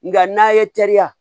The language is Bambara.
Nga n'a ye teriya